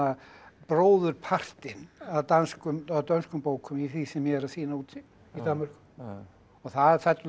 bróðurpartinn af dönskum af dönskum bókum í því sem ég er að sýna úti í Danmörku það fellur